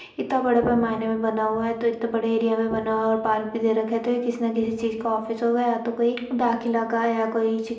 इत्ता बड़ा पैमाने में बना हुआ है तो इतने बड़े एरिया में बना हुआ है और पार्क भी दे रखा है तो यह किसी न किसी चीज़ का ऑफिस होगा या तो कोई पार्क इलाका या कोई --